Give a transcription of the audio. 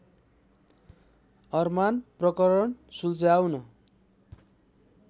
अरमान प्रकरण सुल्झाउन